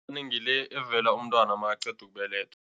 Ngile evela umntwana makaqeda ukubelethwa.